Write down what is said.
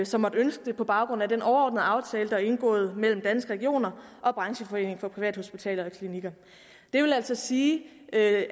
som måtte ønske det på baggrund af den overordnede aftale der er indgået mellem danske regioner og brancheforeningen for privathospitaler og klinikker det vil altså sige at